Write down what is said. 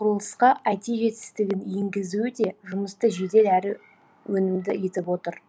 құрылысқа айти жетістігін енгізуі де жұмысты жедел әрі өнімді етіп отыр